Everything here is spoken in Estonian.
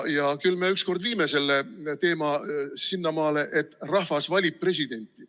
Ja küll me ükskord viime selle teema sinnamaale, et rahvas valib presidenti.